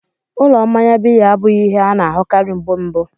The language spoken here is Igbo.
Ụlọ mmanya biya abụghị ihe a na-ahụkarị mgbe mbu.